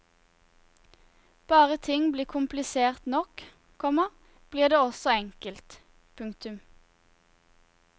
Bare ting blir komplisert nok, komma blir det også enkelt. punktum